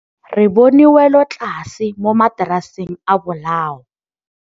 Re bone wêlôtlasê mo mataraseng a bolaô.